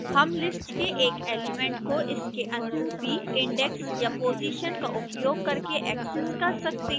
हम list के एक एलिमेंट को इसके अनुरूपी index या position का उपयोग करके ऐक्सेस कर सकते हैं